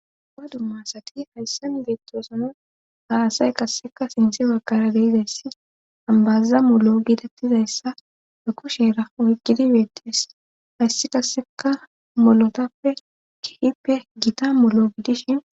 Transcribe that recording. wa dummaasati hayssam beettosano haasay qasseka sinthe wakara beizayssi ambaza molo gidattizayssa e kushera oykgidi beettes hayssi kasseka molotappe kihippe gita molo giddishin